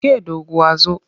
Ke doguwar zo!